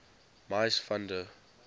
mies van der